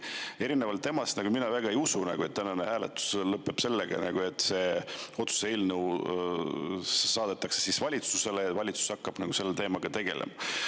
Aga erinevalt temast mina väga ei usu, et tänane hääletus lõpeb sellega, et see otsuse eelnõu saadetakse valitsusele ja valitsus hakkab selle teemaga tegelema.